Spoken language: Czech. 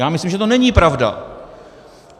Já myslím, že to není pravda.